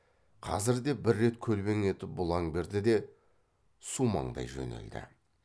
қазір де бір рет көлбең етіп бұлаң берді де сумаңдай жөнелді